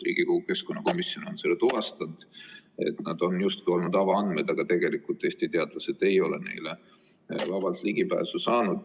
Riigikogu keskkonnakomisjon on seda tuvastanud, et need on justkui olnud avaandmed, aga tegelikult Eesti teadlased ei ole neile vabalt ligi saanud.